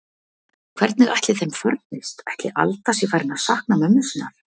Hvernig ætli þeim farnist, ætli Alda sé farin að sakna mömmu sinnar?